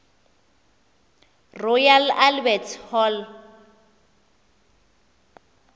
royal albert hall